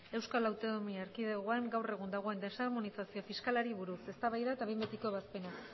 eaen gaur egun dagoen desarmonizazio fiskalari buruz eztabaida eta behin betiko ebazpena